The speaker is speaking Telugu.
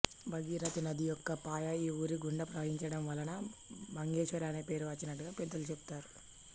భాగీరధీ నది యొక్క పాయ ఈ ఊరి గుండా ప్రవహించడం వలన భగ్గేశ్వరం అనే పేరు వచ్చినట్టుగా పెద్దలు చెపుతారు